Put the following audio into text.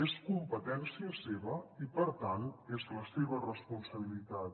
és competència seva i per tant és la seva responsabilitat